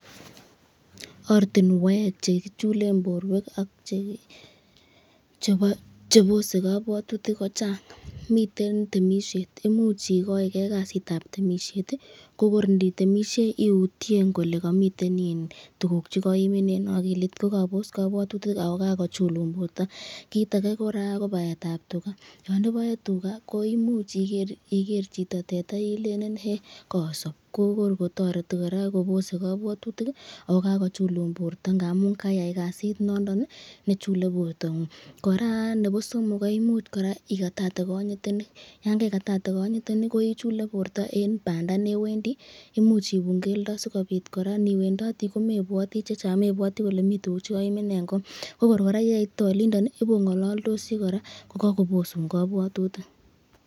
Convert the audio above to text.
Ortinwek chekichulen borwek ak chebose kobwotutik kochang, miten temishet, imuch ikoi kee kasitab temishet ko kor inditemishei iutyen ilee komiten iin tukuk chekoimin, akilit ko kobos kobwotutik ak ko kakochulun borto, kiit akee kora ko baetab tukaa, yoon iboe tukaa ko imuch iker chito teta ilele hee koosob, ko kor kotoreti kora kobose kobwotutik ak ko kakochulun borto ng'amun kaiyai kasit nondon nee chulee bortang'ung, kora nebo somok koimuch kora ikatatee konyitenik, yoon kaikatate konyitenik ko ichulee borto en bandaa newendi, imuch ibun keldo sikobit kora niwendoti komebwoti chechang, mebwoti ilee komii chekoimin en koo, ko kor kora yeitite olindon ibong'ololdosi kora ko kokobosun kobwotutik.